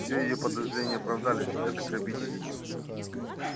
все её подозрения оправдались это грабитель